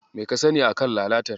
Me ka sani a kan lalatar?